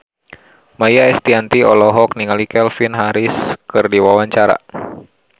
Maia Estianty olohok ningali Calvin Harris keur diwawancara